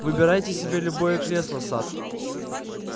выбирайте себе любое кресло сатт